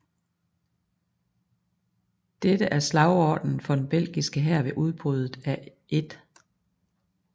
Dette er slagordenen for den belgiske hær ved udbruddet af 1